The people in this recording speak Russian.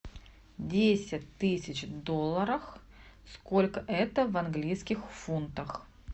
десять тысяч долларов сколько это в английских фунтах